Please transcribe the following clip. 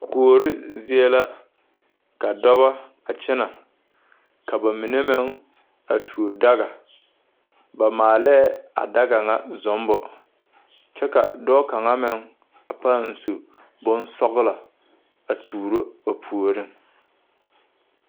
Kuore zie la ka dɔbɔ a kyɛnɛ ka ba mine meŋ a tuo daga ba maalɛɛ a daga ŋa zummbo kyɛ ka dɔɔ kaŋa meŋ a paŋ su bonsɔglɔ a tuuro a puoriŋ.